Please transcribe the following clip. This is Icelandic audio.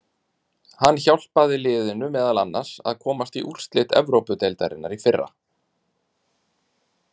Hann hjálpaði liðinu meðal annars að komast í úrslit Evrópudeildarinnar í fyrra.